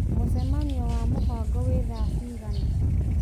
mũcemanio wa mũbango wĩ thaa cigana